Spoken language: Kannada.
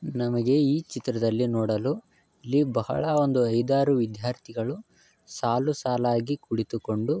ನಮಗೆ ಈ ಚಿತ್ರದಲ್ಲಿ ನೋಡಲು ಇಲ್ಲಿ ಬಹಳಾ ಒಂದು ಐದು ಆರು ವಿದ್ಯಾರ್ಥಿಗಳು ಸಾಲು ಸಾಲಾಗಿ ಕುಳಿತುಕೊಂಡು--